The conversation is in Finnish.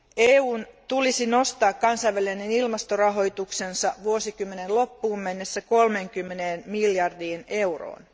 EUn tulisi nostaa kansainvälinen ilmastorahoituksensa vuosikymmenen loppuun mennessä 30 miljardiin euroon.